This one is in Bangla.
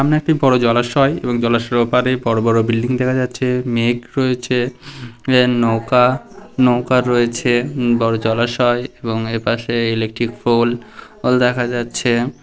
সামনে একটি বড়ো জলাশয় এবং জলাশয়ের ওপারে বড়ো বড়ো বিল্ডিং দেখা যাচ্ছে মেঘ রয়েছে আ নৌকা নৌকা রয়েছে বড়ো জলাশয় এবং এর পাশে ইলেকট্রিক পোল ওল দেখা যাচ্ছে।